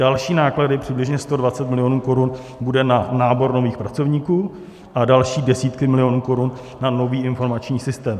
Další náklady, přibližně 120 milionů korun, bude na nábor nových pracovníků a další desítky milionů korun na nový informační systém.